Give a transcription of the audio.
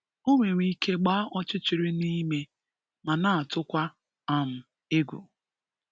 O nwere ike gbaa ọchịchịrị n'ime ma na atụkwa um egwu.